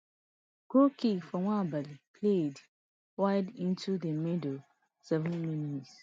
goal kick for nwabali played wide into di middle sevenmins